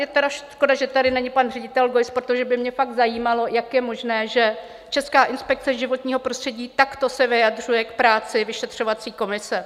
Je tedy škoda, že tady není pan ředitel Geuss, protože by mě fakt zajímalo, jak je možné, že Česká inspekce životního prostředí takto se vyjadřuje k práci vyšetřovací komise.